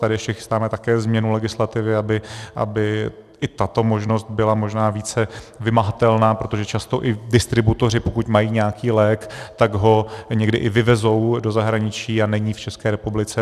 Tady ještě chystáme také změnu legislativy, aby i tato možnost byla možná více vymahatelná, protože často i distributoři, pokud mají nějaký lék, tak ho někdy i vyvezou do zahraničí a není v České republice.